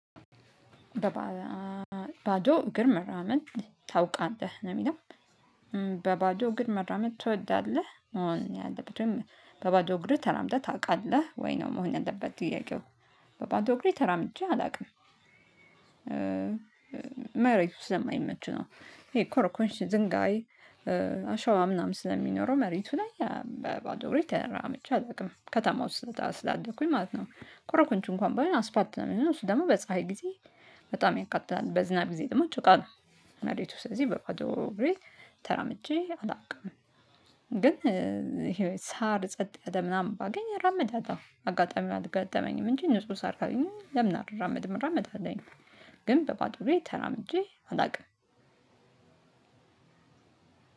በባዶ እግር መራመድ ታውቃለህ ነው የሚለው በባዶ እግር መራመድ ትወዳለህ መሆን ያለበት ወይም በባዶ እግርህ ተራምደህ ታውቃለህ ወይ ነው መሆን ያለበት ጥያቄው? በባዶ እግሬ ተራምጄ አላውቅም። መሬት ውስጥ ስለማይመች ነው። ይሄ ኮርኮንቺ ዝንጋይ አሸዋ ምናምን ስለሚኖረው መሬቱ ላይ በባዶ እግሬ ተራምጄ አላቅም ከተማ ውስጥ ስላደኩኝ ማለት ነው። ኮረኮንቺ እንኳን በይሆን አስፓት ነው እሚሆነው እሱ ደግሞ በፀሀይ ጊዜ በጣም ያቃጥላል በዝናብ ጊዜ ደግሞ ጭቃ ነው። ስለዚ በባዶ እግሬ ተራምጄ አላቅም። ግን ሳር ጸጥ ያለ ምናምን ባገኝ እራመዳለው አጋጣሚው አልገጠመኝም እንጂ ንጹህ ሳር ካለኘው ለምን አልራመድም እራመዳለሁኝ። ግን በባዶ እግሬ ተራምጄ አላቅም።